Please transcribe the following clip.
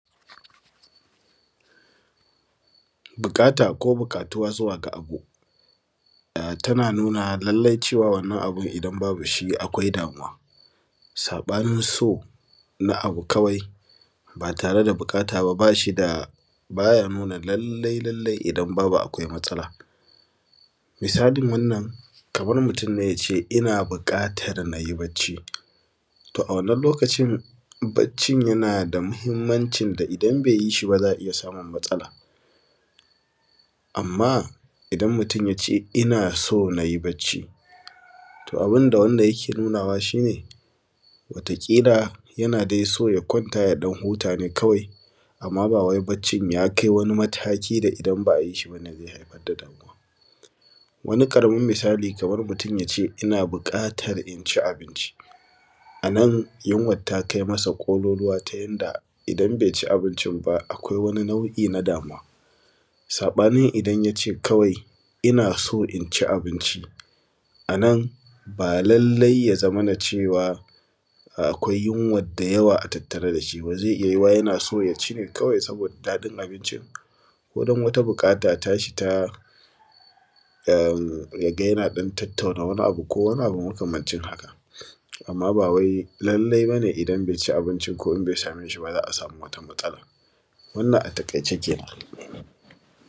buƙata ko buƙatuwa zuwa ga abu tana nuna lallai cewa wannan abun idan babu shi akwai damuwa saɓanin so na abu kawai ba tare da buƙata ba ba shi da ba za ya nuna lallai lallai idan babu akwai matsala misalin wannan kamar mutum ne ya ce ina buƙatar na yi barci to a wannan lokacin barcin yana da muhimmancin da idan bai yi shi ba za a iya samun matsala amma idan mutum ya ce ina so na yi barci to abin da wanda yake nunawa shi ne wata ƙila yana dai so ya kwanta ya ɗan huta ne kawai amma ba wai barcin ya kai wani mataki da idan ba a yi ʃi ba wanda zai haifar da damuwa wani ƙaramin misali kamar mutum ya ce ina buƙatar in ci abinci a nan yunwar ta kai masa ƙololuwa ta yadda idan bai ci abincin ba akwai wani nau’i na damuwa saɓanin idan ya ce kawai ina so in ci abinci a nan ba lallai ya zamana cewa akwai yunwar da yawa a tattare da shi ba zai iya yiwuwa yana so ya ci ne kawai saboda daɗin abincin ko don wata buƙata tashi ta ya ga yana ɗan tattauna wani abu ko wani abu makamancin haka amma ba wai lallai ba ne idan bai ci abinci ko in bai same shi ba za a samu wata matsala wannan a taƙaice kenan